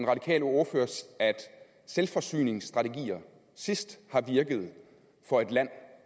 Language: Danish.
radikale ordfører at selvforsyningsstrategier sidst har virket for et land